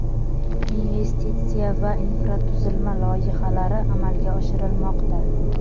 investitsiya va infratuzilma loyihalari amalga oshirilmoqda.